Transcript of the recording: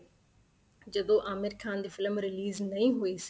ਜਦੋਂ ਆਮਿਰ ਖਾਨ ਦੀ film release ਨਹੀਂ ਹੋਈ ਸੀ